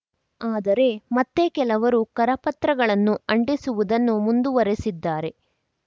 ಆದರೆ ಮತ್ತೇ ಕೆಲವರು ಕರಪತ್ರಗಳನ್ನು ಅಂಟಿಸುವುದನ್ನು ಮುಂದುವರಿಸಿದ್ದಾರೆ